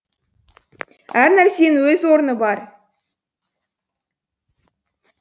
әр нәрсенің өз орны бар